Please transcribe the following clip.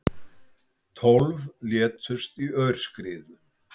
Tólf létust í aurskriðu